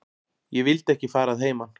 Ég vildi ekki fara að heiman.